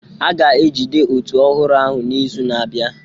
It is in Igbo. A ga-ejide òtù ọhụrụ ahụ n'izu na-abịa